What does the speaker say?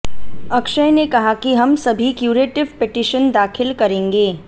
अक्षय ने कहा कि हम सभी क्यूरेटिव पिटीशन दाखिल करेंगे